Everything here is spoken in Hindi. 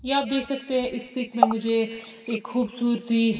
ये आप देख सकते हैं इस पिक में मुझे एक खूबसूरती--